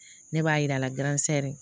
Ne b'a yir'a la gansɛ